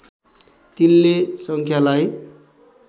तिनले सङ्ख्यालाई